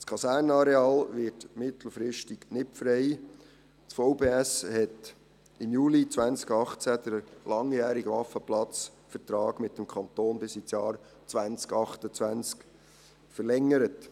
Das Kasernenareal wird mittelfristig nicht frei, denn das VBS hat im Juli 2018 den langjährigen Waffenplatzvertrag mit dem Kanton bis ins Jahr 2028 verlängert.